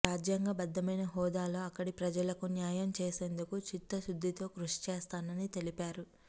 రాజ్యాంగబద్ధమైన హోదాలో అక్కడి ప్రజలకు న్యాయం చేసేందుకు చిత్తశుద్ధితో కృషి చేస్తానని తెలిపారు